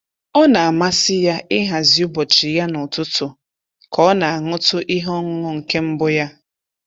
Ọ na-amasị ya ịhazi ụbọchị ya n'ụtụtụ ka ọ na-aṅụtụ ihe ọṅụṅụ nke mbụ ya.